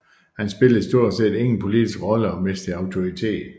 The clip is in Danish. Han spillede stort set ingen politisk rolle og mistede autoritet